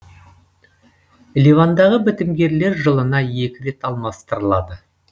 ливандағы бітімгерлер жылына екі рет алмастырылады